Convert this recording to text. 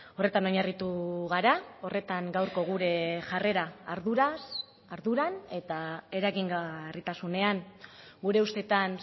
horretan oinarritu gara horretan gaurko gure jarrera arduraz arduran eta eragingarritasunean gure ustetan